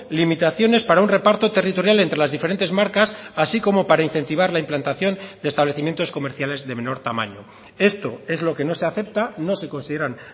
limitaciones para un reparto territorial entre las diferentes marcas así como para incentivar la implantación de establecimientos comerciales de menor tamaño esto es lo que no se acepta no se consideran